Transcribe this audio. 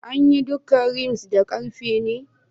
An yi duka rims da karfe ne?